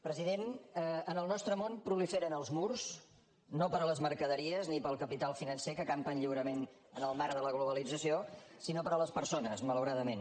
president en el nostre món proliferen els murs no per a les mercaderies ni per al capital financer que campen lliurement en el marc de la globalització sinó per a les persones malauradament